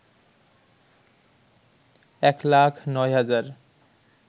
১ লাখ ৯ হাজার